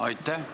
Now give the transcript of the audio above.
Aitäh!